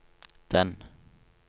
den